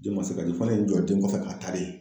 Den ma se ka di fɔ ne ye n jɔ den kɔfɛ k'a ta de.